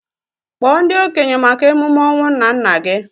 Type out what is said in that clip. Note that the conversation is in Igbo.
Kpọọ ndị okenye maka emume ọnwụ nnanna gị!